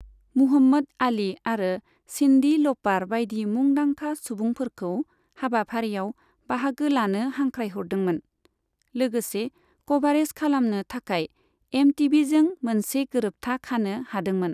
Muhammad Ali आरो Cindy लपार बायदि मुदांखा सुबुंफोरखौ हाबाफारियाव बाहागो लानो हांख्रायहरदोंमोन, लोगोसे क'भारेज खालामनो थाखाय एमटीभिजों मोनसे गोरोबथा खानो हादोंमोन।